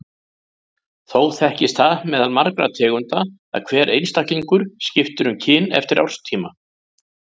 Þó þekkist það meðal margra tegunda að hver einstaklingur skipti um kyn eftir árstíma.